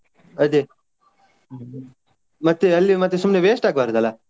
ಅದೇ ಮತ್ತೆ ಅಲ್ಲಿ ಮತ್ತೆ ಸುಮ್ನೆ waste ಆಗ್ಬಾರ್ದಲ್ಲ.